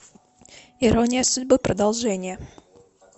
ирония судьбы продолжение